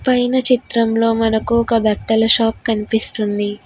పైన చిత్రంలో మనకు ఒక బట్టల షాప్ కనిపిస్తుంది.